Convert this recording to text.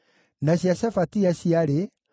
na cia Ara ciarĩ 775,